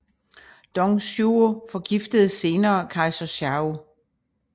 Dong Zhuo forgiftede senere kejser Shao